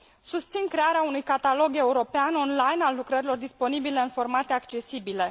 Susțin crearea unui catalog european online al lucrărilor disponibile în formate accesibile.